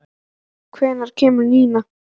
Heiðveig, hvenær kemur nían?